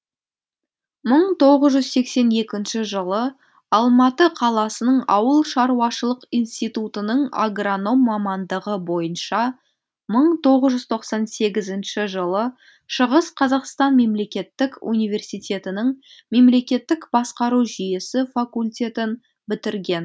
мың тоғыз жүз сексен екінші жылы алматы қаласының ауылшаруашылық институтының агроном мамандығы бойынша мың тоғыз жүз тоқсан сегізінші жылы шығыс қазақстан мемлекеттік университетінің мемлекеттік басқару жүйесі факультетін бітірген